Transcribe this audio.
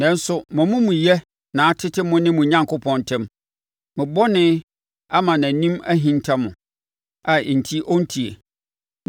Nanso, mo amumuyɛ na atete mo ne mo Onyankopɔn ntam; mo bɔne ama nʼanim ahinta mo, a enti ɔrente.